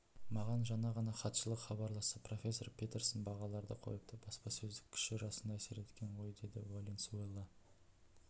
маған жаңа ғана хатшылық хабарласты профессор петерсон бағаларды қойыпты баспасөздің күші расында әсер еткен ғойдеді валенсуэла